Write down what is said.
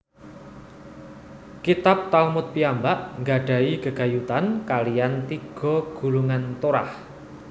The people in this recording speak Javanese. Kitab Talmud piyambak gadahi gegayutan kaliyan tiga gulungan Torah